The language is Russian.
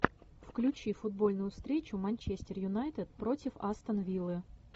включи футбольную встречу манчестер юнайтед против астон виллы